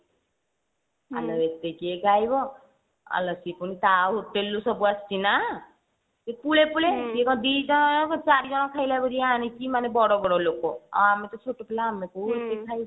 ଆଲୋ ଏତେ କିଏ ଖାଇବ ଆଲୋ ପୁଣି ତା hotel ରୁ ସବୁଆସିଛି ନା ସେ ପୁଳେ ପୁଳେ ସେ କଣ ଦିଟା ଅଳପ ଚାରିଜଣ ଖାଇଲା ଭଳିଆ ଆଣିଛି ବଡବଡ ଲୋ ଆଉ ଆମେ ତ ଛୋଟପିଲା ଆମେ କୋଉ ଏତେ ଖାଇବୁ